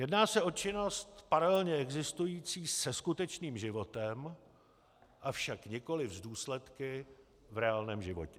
Jedná se o činnost paralelně existující se skutečným životem, avšak nikoliv s důsledky v reálném životě.